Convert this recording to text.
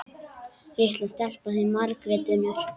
Litla stelpan þín, Margrét Unnur.